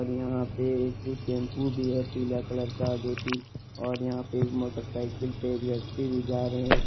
यहां पे एक भी टैम्पू भी है पीला कलर का जो की और यहां पे एक मोटरसाइकिल से एक व्यक्ति भी जा रहे है।